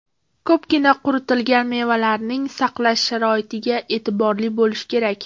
Ko‘pgina quritilgan mevalarning saqlash sharoitiga e’tiborli bo‘lish kerak.